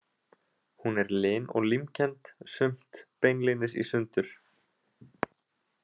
Hún er lin og límkennd, sumt beinlínis í sundur.